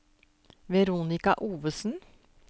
Veronika Ovesen